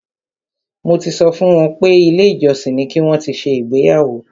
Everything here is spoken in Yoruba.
Mo ti sọ fún wọn pé ilé ìjọsìn ni ki wọn ti ṣe ìgbéyàwó.